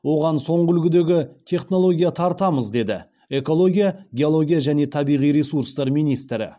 оған соңғы үлгідегі технология тартамыз деді экология геология және табиғи ресурстар министрі